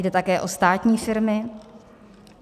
Jde také o státní firmy.